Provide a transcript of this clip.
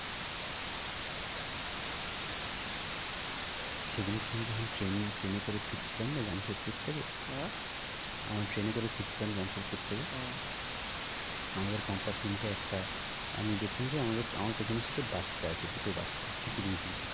সে দিনকে আমি যখন ট্রেনে, ট্রেনে করে ফিরছিলাম না জামশেদপুর থেকে আহ আমার ট্রেনে করে ফিরছিলাম জামশেদপুর থেকে হ্যাঁ আমাদের compartment এ একটা আমি দেখলাম যে আমাদের, আমার পেছনের sit এ বাচ্চা আছে দুটো বাচ্চা কিচিরমিচির করছে।